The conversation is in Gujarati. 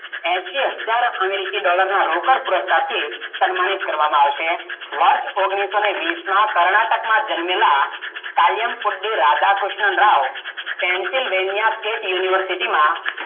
એંસી હજાર અમેરીકી ડોલરો નો રોકડ પુરુષકાર થી સન્માનિત કરવા માં આવશે, વર્ષ ઓગણીસોવિસ માં કર્ણાટક માં જન્મેલા કર્મૂતિક રાધાક્રિષ્ન રાવ Pancil University માં